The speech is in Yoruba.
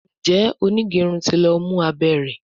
Njé onigerun tí ló mú abé rẹ?